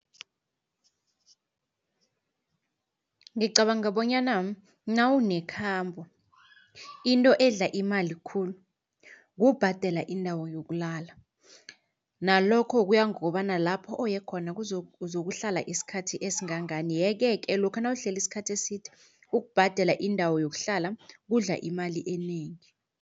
Ngicabanga bonyana nawunekhambo into edla imali khulu kubhadela indawo yokulala nalokho kuya ngokobana lapho uye khona uzokukuhlala isikhathi esingangani. Yeke-ke lokha nawuhleli isikhathi eside ukubhadela indawo yokuhlala kudla imali enengi.